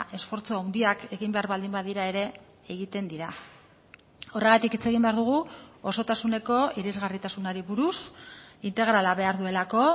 esfortzu handiak egin behar baldin badira ere egiten dira horregatik hitz egin behar dugu osotasuneko irisgarritasunari buruz integrala behar duelako